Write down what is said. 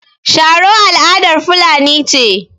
Sharo al'adar fulani ce.